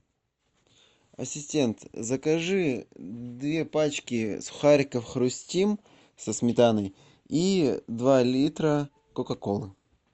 ассистент закажи две пачки сухариков хрустим со сметаной и два литра кока колы